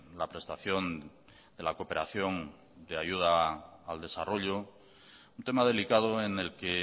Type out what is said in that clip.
la prestación de la cooperación de ayuda al desarrollo un tema delicado en el que